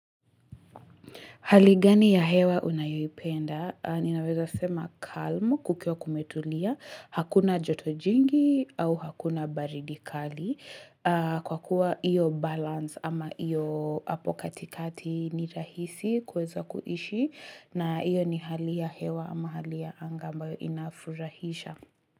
Haligani ya hewa unayoi penda, ninaweza sema calm kukio kumetulia, hakuna jotojingi au hakuna baridikali kwa kuwa iyo balance ama iyo apokatikati ni rahisi kweza kuishi na iyo ni hali ya hewa ama hali ya anga ambayo inafurahisha.